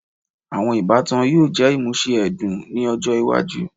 Awọn ibatan yoo jẹ imuse ẹdun ni ọjọ iwaju